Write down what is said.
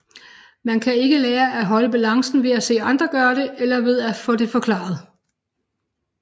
Man kan ikke lære at holde balancen ved at se andre gøre det eller ved at få det forklaret